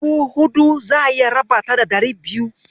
Dubu huɗu, za'a iya raba ta da ɗari biyu.